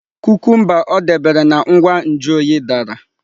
Kukumba o debere na ngwa nju oyi dara.